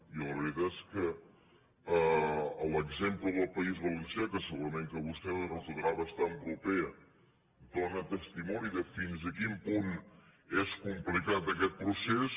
i la veritat és que l’exemple del país valencià que segurament a vostè li deu resultar bastant proper dóna testimoni de fins a quin punt és complicat aquest procés